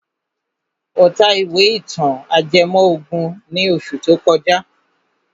Ó ta ìwé ìtàn ajẹmọ́ ògùn ní oṣù tó kọjá.